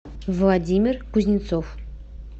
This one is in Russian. владимир кузнецов